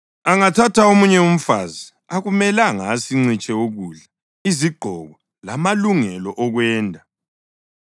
Angathatha omunye umfazi akumelanga asincitshe ukudla, izigqoko lamalungelo okwenda.